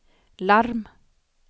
larm